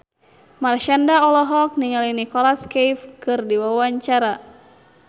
Marshanda olohok ningali Nicholas Cafe keur diwawancara